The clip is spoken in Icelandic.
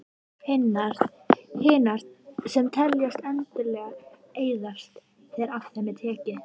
Hinar, sem teljast endanlegar, eyðast þegar af þeim er tekið.